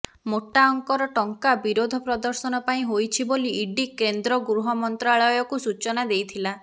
ମୋଟା ଅଙ୍କର ଟଙ୍କା ବିରୋଧ ପ୍ରଦର୍ଶନ ପାଇଁ ହୋଇଛି ବୋଲି ଇଡି କେନ୍ଦ୍ର ଗୃହମନ୍ତ୍ରାଳୟକୁ ସୂଚନା ଦେଇଥିଲା